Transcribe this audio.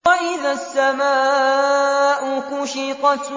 وَإِذَا السَّمَاءُ كُشِطَتْ